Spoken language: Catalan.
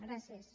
gràcies